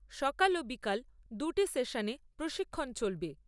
সকাল ও বিকাল দুটি সেশনে প্রশিক্ষন চলবে।